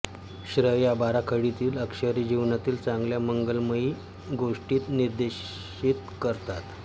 श्र या बाराखडीतील अक्षरे जीवनातील चांगल्या मंगलमय गोष्टी निर्देशित करतात